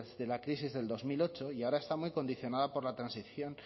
de la crisis del dos mil ocho y ahora está muy condicionada por la transición